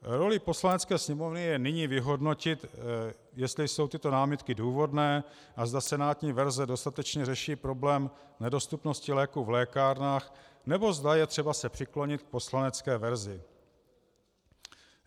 Rolí Poslanecké sněmovny je nyní vyhodnotit, jestli jsou tyto námitky důvodné a zda senátní verze dostatečně řeší problém nedostupnosti léků v lékárnách, nebo zda je třeba se přiklonit k poslanecké verzi.